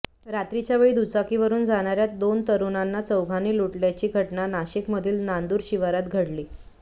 रात्रीच्या वेळी दुचाकीवरून जाणाऱ्या दोन तरुणांना चौघांनी लुटल्याची घटना नाशिकमधील नांदूर शिवारात घडली